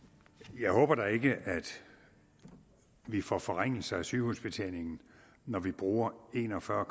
jeg håber da ikke at vi får forringelser af sygehusbetjeningen når vi bruger en og fyrre